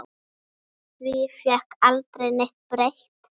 Því fékk aldrei neitt breytt.